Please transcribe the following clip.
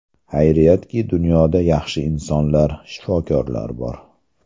Xayriyatki, dunyoda yaxshi insonlar, shifokorlar bor.